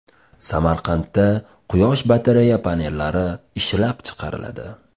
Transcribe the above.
Samarqandda quyosh batareya panellari ishlab chiqariladi.